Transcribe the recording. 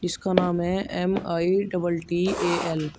इसका नाम है एम_आई डबल टी_ए_एल ।